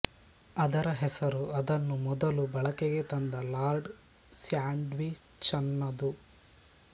ಅದರ ಹೆಸರು ಅದನ್ನು ಮೊದಲು ಬಳಕೆಗೆ ತಂದ ಲಾರ್ಡ್ ಸ್ಯಾಂಡ್ವಿಚ್ಚನದು